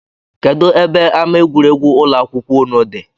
Kedụ ebe ama egwuregwu ụlọakwụkwọụnụ dị?